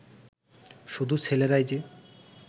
শুধু ছেলেরাই যে